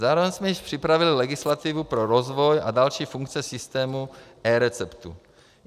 Zároveň jsme již připravili legislativu pro rozvoj a další funkce systému eReceptů.